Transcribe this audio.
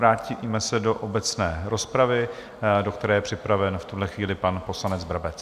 Vrátíme se do obecné rozpravy, do které je připraven v tuhle chvíli pan poslanec Brabec.